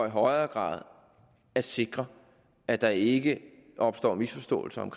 i højere grad kan sikre at der ikke opstår misforståelser om